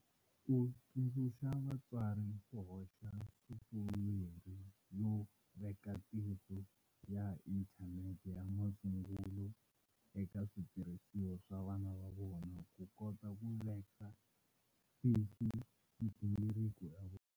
U tsundzuxa vatswari ku hoxa sofuwere yo veka tihlo ya inthanete ya masungulo eka switirhisiwa swa vana va vona ku kota ku veka tihlo migingiriko ya vona.